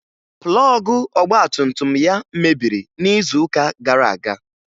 Plọọgụ ọgbatumtum ya mebiri n'izuụka gara aga